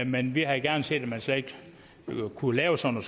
men vi havde gerne set at man slet ikke kunne lave sådan